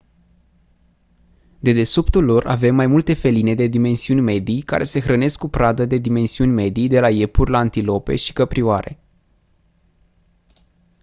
dedesubtul lor avem mai multe feline de dimensiuni medii care se hrănesc cu pradă de dimensiuni medii de la iepuri la antilope și căprioare